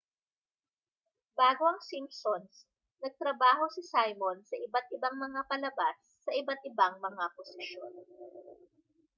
bago ang simpsons nagtrabaho si simon sa iba't-ibang mga palabas sa iba't-ibang mga posisyon